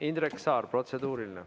Indrek Saar, protseduuriline.